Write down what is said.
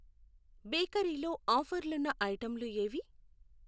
Bakery లో ఆఫర్లున్న ఐటెంలు ఏవి?